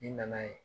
Ni nana ye